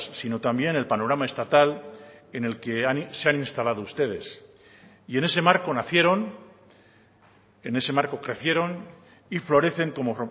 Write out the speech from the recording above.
sino también el panorama estatal en el que se han instalado ustedes y en ese marco nacieron en ese marco crecieron y florecen como